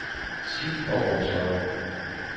Skift baggrundsfarve.